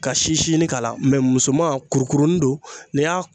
Ka si si ɲini k'a la mɛ musoman kurukurunin don n'i y'a